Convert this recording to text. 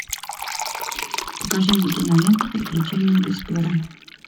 покажи мне киноленту приключения десперо